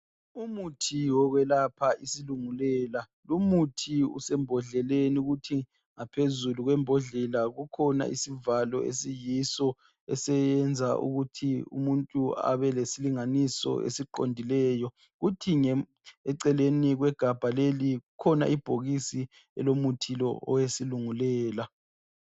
Umuthi wokwelapha isilungulela. Lumuthi usembhodleleni kuthi ngaphezulu kwembodlela kukhona isivalo esiyiso esiyenza ukuthi umuntu abe lesilinganiso esiqondileyo. Kuthi eceleni kwegabha leli kukhona ibhokisi elomuthi lo owesilungulela.